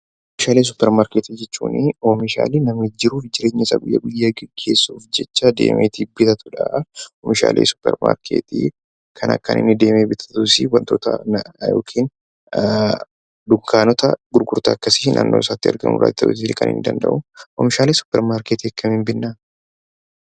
Oomishaalee supermarketii jechuun oomishaalee jiruuf jireenya isaa gaggeessuuf jecha deemee bitatuu dha. Oomishaalee supermarketii kana kan deemee bitu dunkaanota gurgurtaa naannoo isaatti argamu irraa bituu kan inni danda'uu dha. Oomishaalee supermarketii akkamiin bitnaa?